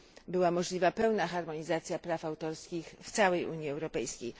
była możliwa pełna harmonizacja praw autorskich w całej Unii Europejskiej.